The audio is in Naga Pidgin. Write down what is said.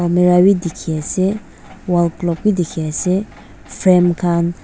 almira b diki ase wall clock b diki ase frame kan.